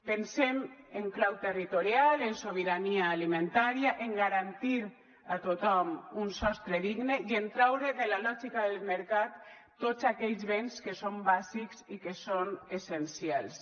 pensem en clau territorial en sobirania alimentària en garantir a tothom un sostre digne i en traure de la lògica del mercat tots aquells béns que són bàsics i que són essencials